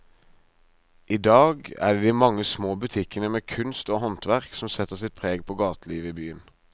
I dag er det de mange små butikkene med kunst og håndverk som setter sitt preg på gatelivet i byen.